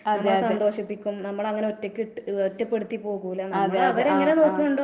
അതെ അതെ, അതെ അതെ ആഹ് ആഹ്.